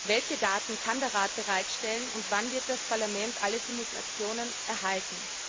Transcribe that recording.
Welche Daten kann der Rat bereitstellen und wann wird das Parlament alle Simulationen erhalten?